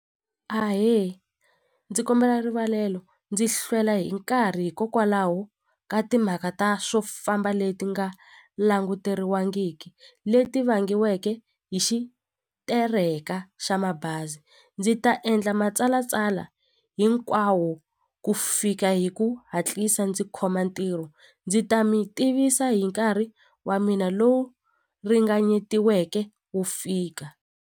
Ahe ndzi kombela rivalelo ndzi hlwela hi nkarhi hikokwalaho ka timhaka ta swo famba leti nga languteriwangiki leti vangiweke hi xitereka xa mabazi ndzi ta endla matsalatsala hinkwawo ku fika hi ku hatlisa ndzi khoma ntirho ndzi ta mi tivisa hi nkarhi wa mina lowu ringanyetiweke ku fika.